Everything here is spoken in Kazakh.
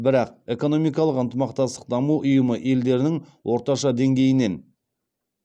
бірақ экономикалық ынтымақтастық даму ұйымы елдерінің орташа деңгейінен